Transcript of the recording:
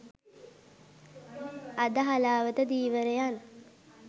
අද හලාවත ධීවරයන්